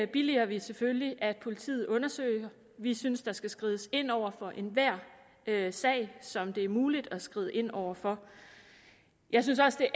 billiger selvfølgelig at politiet undersøger vi synes der skal skrides ind over for enhver sag som det er muligt at skride ind over for jeg synes også